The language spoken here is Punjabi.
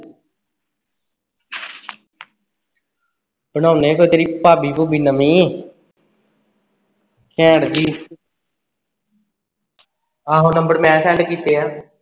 ਬਣਾਉਣੇ ਫਿਰ ਤੇਰੀ ਭਾਬੀ ਭੂਬੀ ਨਵੀਂ ਘੈਂਟ ਜੀ ਆਹੋ number ਮੈਂ send ਕੀਤੇ ਆ